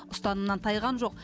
ұстанымнан тайған жоқ